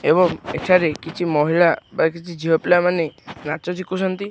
ଏବଂ ଏଠାରେ କିଛି ମହିଳା ବା କିଛି ଝିଅ ପିଲା ମାନେ ନାଚ ଶିଖୁଛନ୍ତି।